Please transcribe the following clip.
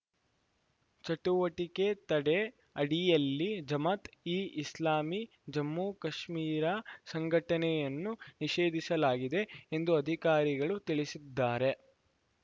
ಚಟುವಟಿಕೆ ತಡೆ ಅಡಿಯಲ್ಲಿ ಜಮಾತ್‌ ಇ ಇಸ್ಲಾಮಿ ಜಮ್ಮು ಕಾಶ್ಮೀರ ಸಂಘಟನೆಯನ್ನು ನಿಷೇಧಿಸಲಾಗಿದೆ ಎಂದು ಅಧಿಕಾರಿಗಳು ತಿಳಿಸಿದ್ದಾರೆ